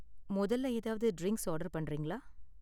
மொதல்ல ஏதாவது drinks order பண்றீங்களா?